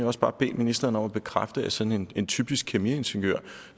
også bare bede ministeren om at bekræfte at sådan en typisk kemiingeniør